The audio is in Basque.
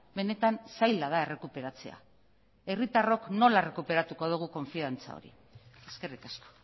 benetan zaila da errekuperatzea herritarrok nola errekuperatuko dugu konfiantza hori eskerrik asko